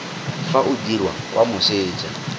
fa o dirwa kwa moseja